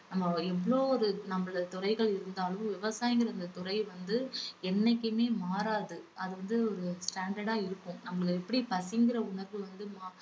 நம்ம எவ்ளோ ஒரு நம்மள துறைகள் இருந்தாலும் விவசாயம்கிற இந்த துறை வந்து என்னைக்குமே மாறாது. அது வந்து ஒரு standard ஆ இருக்கும். நம்மள எப்படி பசிங்குற உணர்வு வந்து மா~